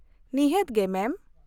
ᱱᱤᱦᱟᱹᱛ ᱜᱮ, ᱢᱮᱢ ᱾